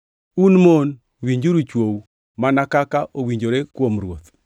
Un mon, winjuru chwou, mana kaka owinjore kuom Ruoth.